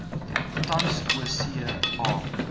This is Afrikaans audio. tans oorsee a